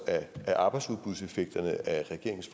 af arbejdsudbudseffekterne af regeringens